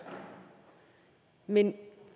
men